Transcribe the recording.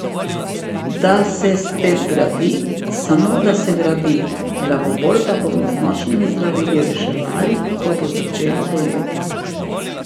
Da se spet gradi, samo da se gradi, glavobol pa bomo z močnimi zdravili reševali, ko bo začelo boleti?